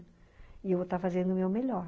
E eu vou estar fazendo o meu melhor.